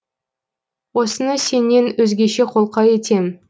осыны сенен өзгеше қолқа етем